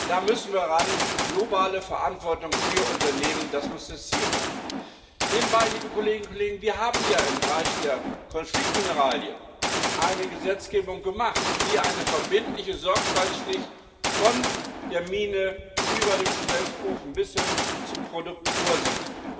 Da müssen wir ran. Globale Verantwortung für Unternehmen muss das Ziel sein. Nebenbei, liebe Kolleginnen und Kollegen Wir haben ja im Bereich der Konfliktmineralien eine Gesetzgebung gemacht, die eine verbindliche Sorgfaltsflicht von der Mine über den Schmelzofen bis hin zum Produkt vorsieht.